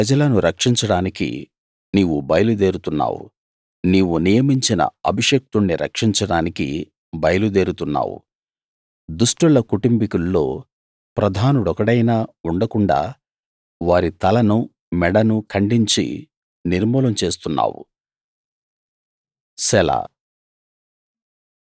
నీ ప్రజలను రక్షించడానికి నీవు బయలుదేరుతున్నావు నీవు నియమించిన అభిషిక్తుణ్ణి రక్షించడానికి బయలు దేరుతున్నావు దుష్టుల కుటుంబికుల్లో ప్రధానుడొకడైనా ఉండకుండాా వారి తలను మెడను ఖండించి నిర్మూలం చేస్తున్నావు సెలా